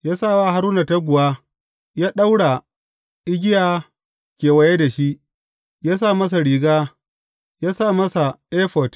Ya sa wa Haruna taguwa, ya ɗaura igiya kewaye da shi, ya sa masa riga, ya sa masa efod.